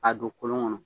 A don kolon kɔnɔ